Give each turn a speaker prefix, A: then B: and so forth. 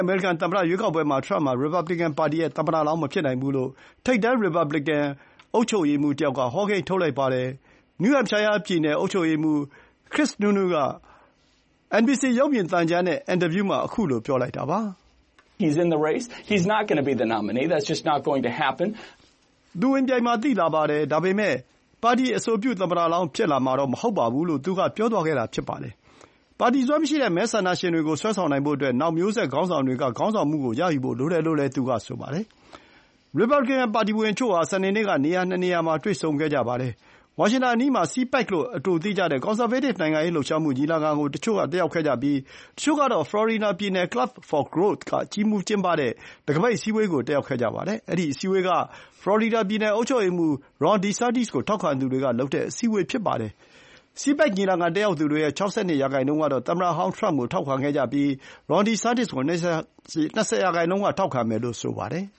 A: အမေရိကန်သမ္မတရွေးကောက်ပွဲမှာ ထရမ့်ဟာ ရီပါဘလီကန်ပါတီရဲ့ သမ္မတလောင်း မဖြစ်နိုင်ဘူးလို့ ထိပ်တန်း ရီပါဘလီကန် အုပ်ချုပ်ရေးမှူးတယောက်က ဟောကိန်းထုတ်လိုက်ပါတယ်။ New Hampshire ပြည်နယ် အုပ်ချုပ်ရေးမှူး
B: Chris Sununu က NBC ရုပ်မြင်သံကြားနဲ့ အင်တာဗျူးမှာ ခုလို ပြောလိုက်တာပါ။ “သူ ဝင်ပြိုင်မှာ သိသာပါတယ်။ ဒါပေမဲ့ ပါတီအဆိုပြုသမ္မတလောင်း ဖြစ်လာမှာတော့မဟုတ်ပါဘူး။” လို့ သူက
A: ပြောသွားတာပါ။ ပါတီစွဲမရှိတဲ့မဲဆန္ဒရှင်တွေကို ဆွဲဆောင်နိုင်ဖို့အတွက် နောက်မျိုးဆက် ခေါင်းဆောင်တွေက ခေါင်းဆောင်မှုကိုရယူဖို့လိုတယ်လို့ သူကဆိုပါတယ်။ ရီပါလီကန်ပါတီဝင်တချို့ဟာ စနေနေ့က နေရာ ၂ နေရာမှာ တွေ့ဆုံခဲ့ကြပါတယ်။ ဝါရှင်တန်အနီးမှာ CPAC လို့ အတိုသိကြတဲ့ ကွန်ဆာဗေးတစ် နိုင်ငံရေးလှုပ်ရှားမှုညီလာခံကို တချို့ကတက်ရောက်ခဲ့ကြပြီး တချို့ ကတော့ ဖလော်ရီဒါပြည်နယ် Club for Growth က ကြီးမှူးကျင်းပတဲ့ တံခါးပိတ်အစည်းအဝေးကို တက်ရောက်ခဲ့ကြပါတယ်။ အဲဒီ အစည်းအဝေးက ဖလော်ရီဒါ ပြည်နယ်အုပ်ချုပ်ရေးမှူး Ron DeSantis ကို ထောက်ခံသူတွေကလုပ်တဲ့ အစည်းအဝေးဖြစ်ပါတယ်။ CPAC ညီလာခံတက်ရောက်သူတွေရဲ့ ၆၂ ရာနှုန်းကတော့ သမ္မတဟောင်းထရမ့်ကို ထောက်ခံကြပြီး Ron DeSantis ကို ၂၀ ရာနှုန်းက ထောက်ခံမယ်လို့ ဆိုပါတယ်